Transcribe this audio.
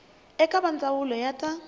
eka va ndzawulo ya ta